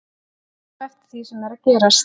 Við tökum eftir því sem er að gerast.